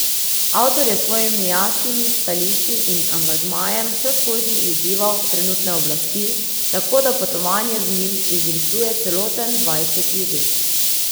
Avtor je s svojimi jasnimi stališči in angažmajem vseskozi izzival trenutne oblasti, tako da potovanje z njim izrisuje celoten dvajseti vek.